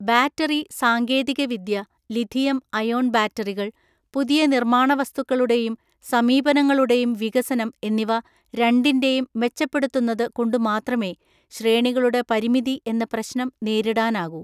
Battery സാങ്കേതികവിദ്യ lithium ion ബാറ്ററികൾ, പുതിയ നിർമ്മാണവസ്തുക്കളുടെയും സമീപനങ്ങളുടെയും വികസനം എന്നിവ രണ്ടിൻ്റെയും മെച്ചപ്പെടുത്തുന്നതു കൊണ്ടുമാത്രമേ ശ്രേണികളുടെ പരിമിതി എന്ന പ്രശ്നം നേരിടാനാകൂ.